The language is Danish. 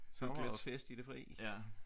Sommer og fest i det fri